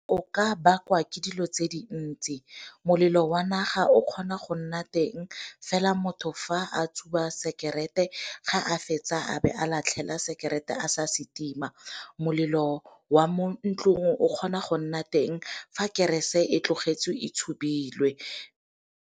O ka bakwa ke dilo tse di ntsi, molelo wa naga o kgona go nna teng fela motho fa a tsuba sekerete ga a fetsa a be a latlhela sekerete a sa se tima. Molelo wa mo ntlong o kgona go nna teng fa kerese e tlogetswe e tshubilwe.